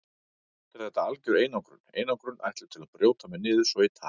Samt er þetta algjör einangrun, einangrun ætluð til að brjóta mig niður svo ég tali.